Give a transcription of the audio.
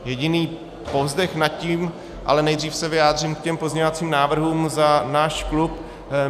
Jediný povzdech nad tím - ale nejdřív se vyjádřím k těm pozměňovacím návrhům za náš klub.